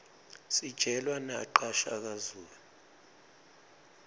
sijelwa naqa shaka zulu